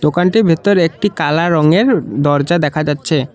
দোকানটির ভিত্তর একটি কালা রঙের দরজা দেখা যাচ্ছে।